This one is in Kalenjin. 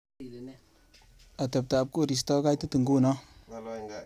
Ateptap korista kokaitit ngunoo.